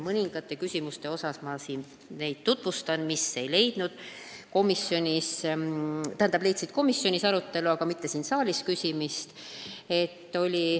Ma tutvustan neid teemasid, mis leidsid komisjonis arutelu, aga mille kohta siin saalis ei küsitud.